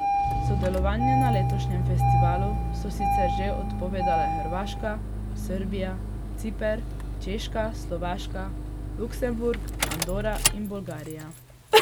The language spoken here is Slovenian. Sodelovanje na letošnjem festivalu so sicer že odpovedale Hrvaška, Srbija, Ciper, Češka, Slovaška, Luksemburg, Andora in Bolgarija.